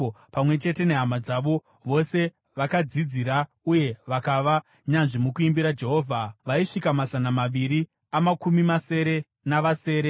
Pamwe chete nehama dzavo, vose vakadzidzira uye vakava nyanzvi mukuimbira Jehovha, vaisvika mazana maviri amakumi masere navasere.